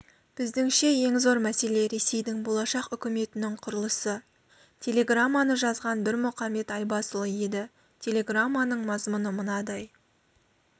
біздіңше ең зор мәселе ресейдің болашақ үкіметінің құрылысы телеграмманы жазған бірмұқамбет айбасұлы еді телеграмманың мазмұны мынадай